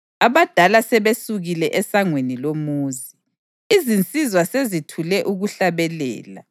Abadala sebesukile esangweni lomuzi; izinsizwa sezithule ukuhlabelela.